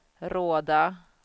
Råda